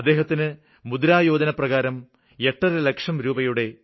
അദ്ദേഹത്തിന് മുദ്ര യോജന പ്രകാരം എട്ടര ലക്ഷം രൂപയുടെ 8